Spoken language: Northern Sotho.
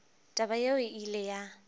taba yeo e ile ya